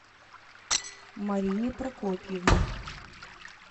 марине прокопьевне